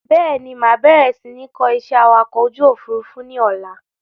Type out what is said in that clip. Bẹ́ẹ̀ni, máa bẹ̀rẹ̀ si ni kọ́ ìṣẹ́ awakọ̀ ojú Òfurufú ni ọ̀la.